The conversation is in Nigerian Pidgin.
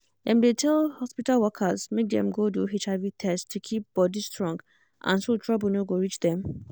dem dey tell hospital workers make dem go do hiv test to keep body strong and so trouble no go reach them.